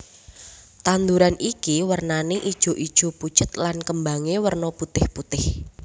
Tanduran iki wernané ijoijo pucet lan kembangé werna putihPutih